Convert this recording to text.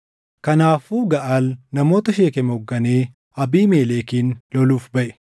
Kanaafuu Gaʼaal namoota Sheekem hoogganee Abiimelekin loluuf baʼe.